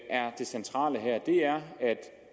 er det centrale her er at